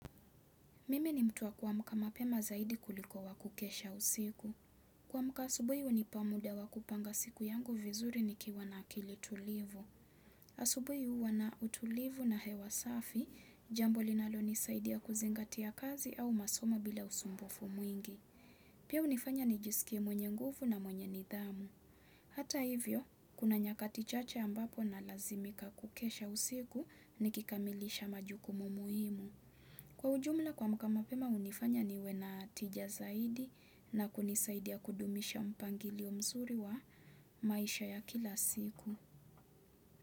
Mimi ni mtu wa kuamka mapema zaidi kuliko wa kukesha usiku. Kuamka asubuhi hunipa muda wa kupanga siku yangu vizuri nikiwa na akili tulivu. Asubuhi huwa na utulivu na hewa safi jambo linalonisaidia kuzingatia kazi au masomo bila usumbufu mwingi. Pia hunifanya nijisikie mwenye nguvu na mwenye nidhamu. Hata hivyo, kuna nyakati chache ambapo nalazimika kukesha usiku nikikamilisha majukumu muhimu. Kwa ujumla kuamka mapema hunifanya niwe na tija zaidi na kunisaidia kudumisha mpangilio mzuri wa maisha ya kila siku.